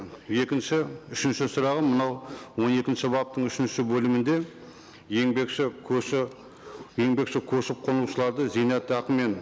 екінші үшінші сұрағым мынау он екінші баптың үшінші бөлімінде еңбекші еңбекші көшіп қонушыларды зейнетақымен